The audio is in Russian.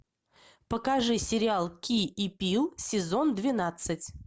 покажи сериал ки и пил сезон двенадцать